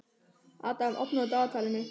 Adam, opnaðu dagatalið mitt.